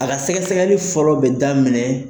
A ka sɛgɛsɛgɛli fɔlɔ bɛ da minɛ.